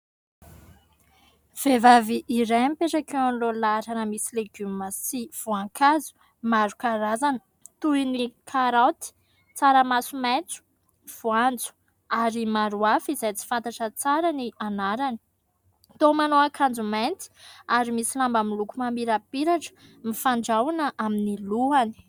Vehivavy iray mipetraka eo alohan'ny lahatrana misy legioma sy voankazo maro karazana, toy ny karaoty, tsaramaso maintso, voanjo ary maro afa izay tsy fantatra tsara ny anarany. Tô manao ankanjo mainty ary misy lamba miloko mamirapiratra mifandraona amin'ny lohany.